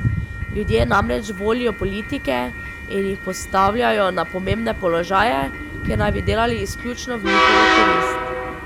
Ljudje namreč volijo politike in jih postavljajo na pomembne položaje, kjer naj bi delali izključno v njihovo korist.